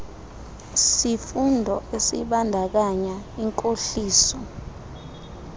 sifundo esibandakanya inkohliso